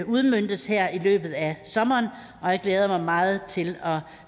udmøntes her i løbet af sommeren og jeg glæder mig meget til at